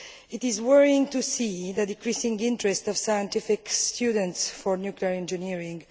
It is worrying to see the decreasing interest of science students in nuclear engineering.